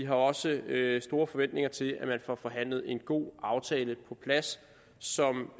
har også store forventninger til at man får forhandlet en god aftale på plads som